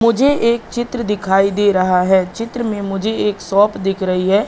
मुझे एक चित्र दिखाई दे रहा है। चित्र में मुझे एक शॉप दिख रही है।